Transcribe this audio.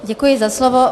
Děkuji za slovo.